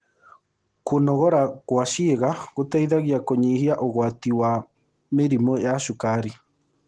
Kũnogora gwa ciĩga gũteĩthagĩa kũnyũĩhĩa ũgwatĩ wa mĩrĩmũ ya cũkarĩ